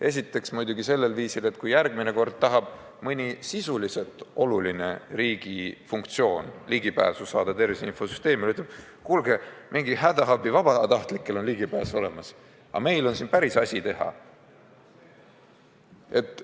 Esiteks muidugi nii, et kui järgmine kord tahetakse mõne sisuliselt olulise riigi funktsiooni täitmiseks ligipääsu tervise infosüsteemile, siis see asutus ütleb, et kuulge, hädaabi telefoni vabatahtlikel on mõttetu ligipääs olemas, aga meil on siin päris asi teha!